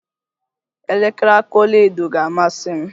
Elekere aka ọlaedo ga-amasi m